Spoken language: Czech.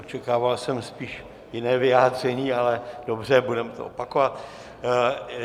Očekával jsem spíš jiné vyjádření, ale dobře, budeme to opakovat.